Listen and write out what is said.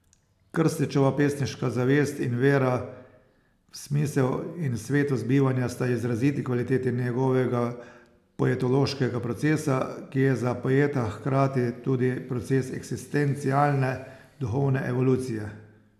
Krstičeva pesniška zavest in vera v smisel in svetost bivanja sta izraziti kvaliteti njegovega poetološkega procesa, ki je za poeta hkrati tudi proces eksistencialne, duhovne evolucije.